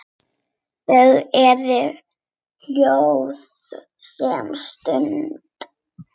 Þau eru hljóð um stund.